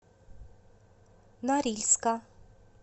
норильска